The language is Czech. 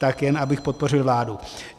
Tak jen abych podpořil vládu.